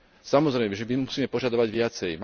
Samozrejme, že my musíme požadovať viacej.